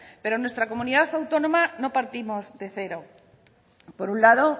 pero en nuestra comunidad autónoma no partimos de cero por un lado